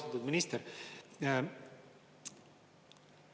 Austatud minister!